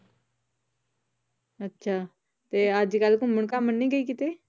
ਅੱਛਾ, ਤੇ ਅੱਜ ਕੱਲ੍ਹ ਘੁੰਮਣ ਘਾਮਣ ਨੀ ਗਈ ਕਿਤੇ?